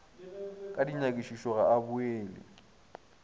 ka dinyakišišo ga a boele